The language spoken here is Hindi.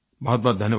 बहुतबहुत धन्यवाद